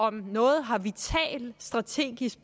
at noget har vital strategisk